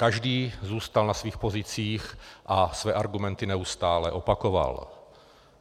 Každý zůstal na svých pozicích a své argumenty neustále opakoval.